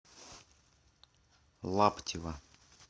лаптева